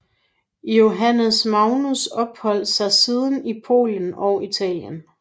Johannes Magnus opholdt sig siden i Polen og Italien